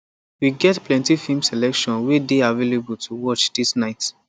we get plenty film selection way dey available to watch this night